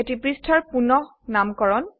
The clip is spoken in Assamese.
এটি পৃষ্ঠাৰ পুনঃনামকৰণ